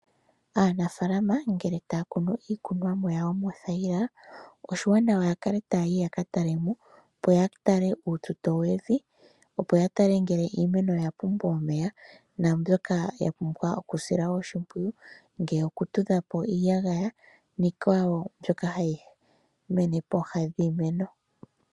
Aanafalama ngeke taya kunu iikunomwa yawo moothayila, oshiwanawa ya kale taya yi ya ka talemo opo ya tale uututo wevi, opo ya tale ngele iimeno oya pumbwa omeya, na mbyoka ya pumbwa okusilwa oshimpwiyu, ngele okutudhapo iiyagaya niikwawo mbyoka hayi mene pooha dhiimeno.